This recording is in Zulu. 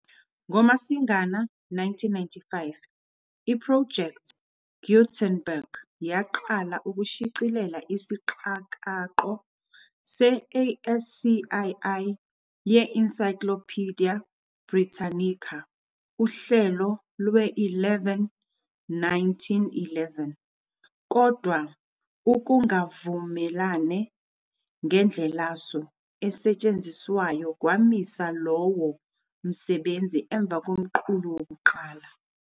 NgoMasingana 1995, i-Project Gutenberg yaqala ukushicilela isiqakaqo se- ASCII ye-Encyclopaedia Britannica, uhlelo lwe-11, 1911, kodwa ukungavumelane ngendlelasu esetshenziswayo kwamisa lowo msebenzi emva komqulu wokuqala.